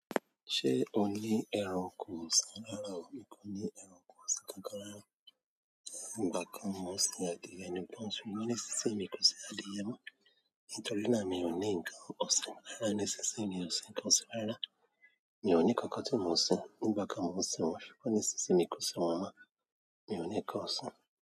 Ṣé o ní ẹranko ọ̀sìn rára o? N kò ní ẹranko ọ̀sìn kankan rárá. Nígbà kan mo ń sin adìẹ nìkan ṣùgbọ́n nísinsìnyí mi kò sin adìẹ mọ́, nítorí náà mi ò ní nǹkan ọ̀sìn. Rárá, nísinsìnyí mi ò sin nǹkan ọ̀sìn rárá. Mi ò ní kankan tí mo ń sin. Nígbà kan mo ń sin wọ́n ṣùgbọ́n nísinsìnyí kò si wọn mọ́. Mi ò ní nǹkan ọ̀sìn.